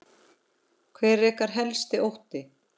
Hver er ykkar helsti ótti?